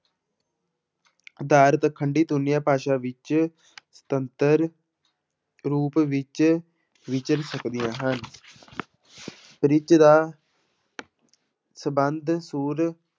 ਦੀਰਘ ਖੰਡੀ ਧੁਨੀਆਂ ਭਾਸ਼ਾ ਵਿੱਚ ਸੁਤੰਤਰ ਰੂਪ ਵਿੱਚ ਵਿਚਰ ਸਕਦੀਆਂ ਹਨ ਪਿੱਚ ਦਾ ਸੰਬੰਧ ਸੁਰ